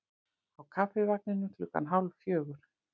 Á Kaffivagninum klukkan hálf fjögur.